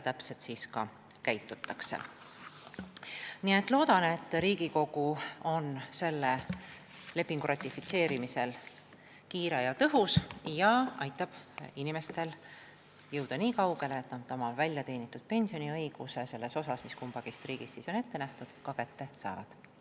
Ma loodan, et Riigikogu on selle lepingu ratifitseerimisel kiire ja tõhus ning aitab kaasa, et inimesed oma väljateenitud pensioni selles osas, mis kummaski riigis on ette nähtud, ka kätte saavad.